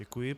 Děkuji.